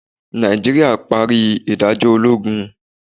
Naijiria pari idajọ ologun.